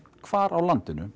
hvar á landinu